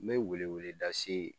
N bɛ weleeleda se